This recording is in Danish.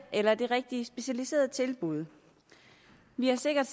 eller det rigtige specialiserede tilbud vi har sikkert